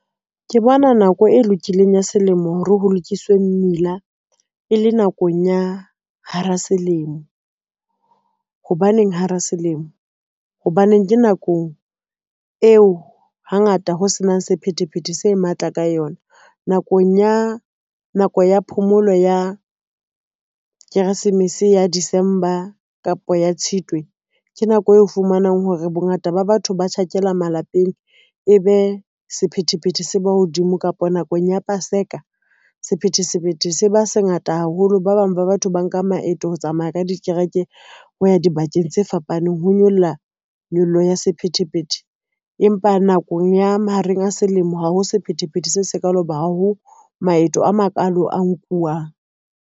Ke bona nako e lokileng ya selemo hore ho lokiswe mmila e le nakong ya hara selemo. Hobaneng, hara selemo, hobaneng ke nakong eo hangata ho senang sephethephethe se matla ka yona. Nakong ya nako ya phomolo ya Keresemese ya December kapa ya Tshitwe, ke nako eo fumanang hore bongata ba batho ba tjhakela malapeng e be sephethephethe se ba hodimo kapa nakong ya paseka, sephethepethe se ba se ngata haholo, ba bang ba batho ba nka maeto ho tsamaya ka dikereke ho ya dibakeng tse fapaneng ho nyolla, nyollo ya sephethephethe, empa nakong ya mahareng a selemo ha ho sephethephethe se sekaalo ho ba ha ho maeto a makalo a nkuwang.